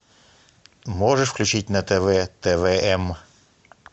можешь включить на тв твм